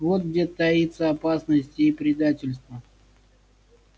вот где таится опасность и предательство